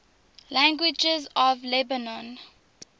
languages of lebanon